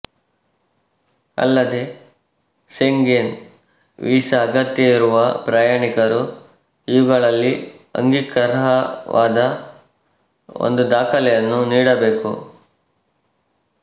ಅಲ್ಲದೆ Schengen visa ಅಗತ್ಯವಿರುವ ಪ್ರಯಾಣಿಕರು ಇವುಗಳಲ್ಲಿ ಅಂಗೀಕಾರಾರ್ಹವಾದ ಒಂದು ದಾಖಲೆಯನ್ನು ನೀಡಬೇಕು